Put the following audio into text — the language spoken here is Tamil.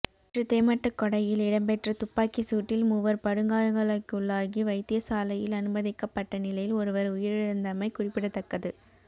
நேற்று தெமட்டகொடையில் இடம்பெற்ற துப்பாக்கி சூட்டில் மூவர் படுகாயங்களுக்கள்ளாகி வைத்தியசாலையில் அனுமதிக்கப்பட்ட நிலையில் ஒருவர் உயிரிழந்தமை குறிப்பிடத்தக்கது